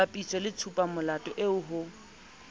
bapiswe le tshupamolato eo ho